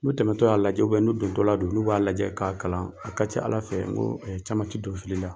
N'u tɛmɛtɔ y'a lajɛ n'u dontɔla don n'u b'a lajɛ k'a kalan , a ka ca ala fɛ ko caman ti don fili la.